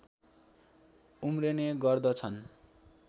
उम्रने गर्दछन्